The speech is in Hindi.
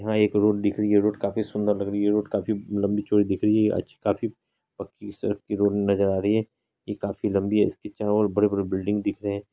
यहां एक रोड दिख रही है रोड काफी सुंदर लग रही है रोड काफी लंबी चोडी दिख रही है काफी पक्की सड़क की रोड नजर आ रही है यह काफी लंबी है इसके चारों ओर बिल्डिंग दिख रहे हैं।